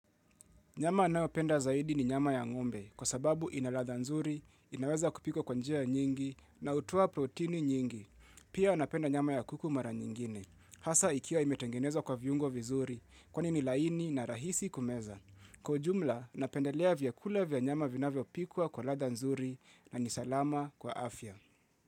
Nyama ninayopenda zaidi ni nyama ya ngombe kwa sababu ina ladha nzuri, inaweza kupikwa kwa njia nyingi na hutoa protini nyingi. Pia napenda nyama ya kuku mara nyingine. Hasa ikiwa imetengenezwa kwa viungo vizuri kwani ni laini na rahisi kumeza. Kwa ujumla, napendelea vyakula vya nyama vinavyopikwa kwa ladha nzuri na ni salama kwa afya.